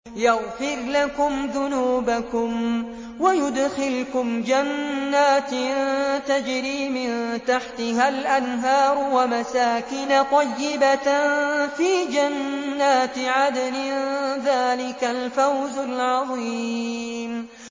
يَغْفِرْ لَكُمْ ذُنُوبَكُمْ وَيُدْخِلْكُمْ جَنَّاتٍ تَجْرِي مِن تَحْتِهَا الْأَنْهَارُ وَمَسَاكِنَ طَيِّبَةً فِي جَنَّاتِ عَدْنٍ ۚ ذَٰلِكَ الْفَوْزُ الْعَظِيمُ